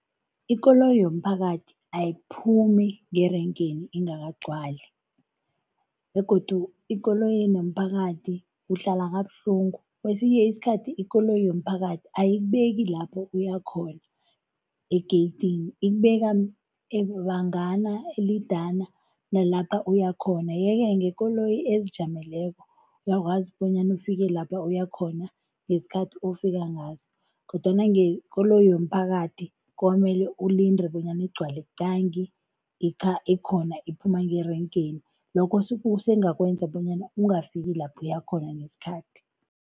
Ikoloyi yomphakathi ayiphumi ngerenkeni ingakagcwal begodu ekoloyini yomphakathi uhlala kabuhlungu. Kwesinye isikhathi ikoloyi yomphakathi ayikubeki lapho uyakhona egeyidini, ikubeka bangana elidana nalapha uyakhona yeke ngekoloyi ezijameleko, uyakwazi bonyana ufike lapha uyakhona ngesikhathi ofika ngaso kodwana ngekoloyi yomphakathi kwamele ulinde bonyana igcwale qangi ikhona iphuma ngerenkeni, lokho kusengakwenza bonyana ungafiki lapho uyakhona ngesikhathi.